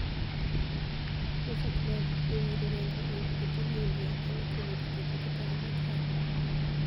Mofart Mali: Be wiro ranigi udi e piniy Inidia niyalo koniyo ji bedo gi paro makare?